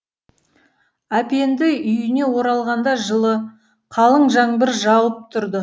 әпенді үйіне оралғанда жылы қалың жаңбыр жауып тұрды